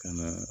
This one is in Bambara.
Ka na